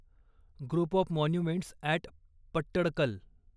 group of monuments at Pattadakal